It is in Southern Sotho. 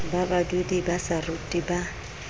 ba badudi ba saruri ba